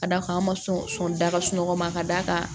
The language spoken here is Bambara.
Ka d'a kan an ma sɔn da ka sunɔgɔ ma ka d'a kan